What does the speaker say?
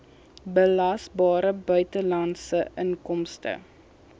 belasbare buitelandse inkomste